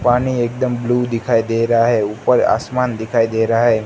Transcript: पानी एक दम ब्ल्यू दिखाई दे रहा है ऊपर आसमान दिखाई दे रहा है।